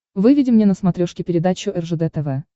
выведи мне на смотрешке передачу ржд тв